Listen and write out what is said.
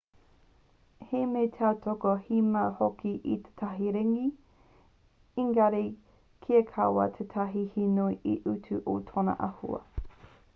he mea tautoko te mau hoki i tētahi ringi engari kia kaua tētahi he nui te utu o tōna āhua